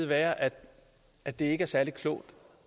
være at at det ikke er særlig klogt